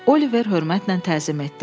Oliver hörmətlə təzim etdi.